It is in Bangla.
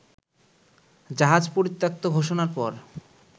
জাহাজ পরিত্যক্ত ঘোষণার পর